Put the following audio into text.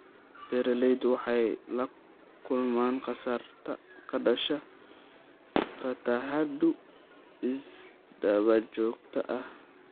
Beeraleydu waxay la kulmaan khasaare ka dhashay fatahaado isdaba joog ah.